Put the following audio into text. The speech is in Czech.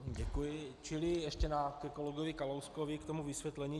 Čili ještě ke kolegovi Kalouskovi, k tomu vysvětlení.